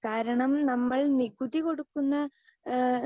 speaker 2 കാരണം നമ്മൾ നികുതി കൊടുക്കുന്ന ഏഹ്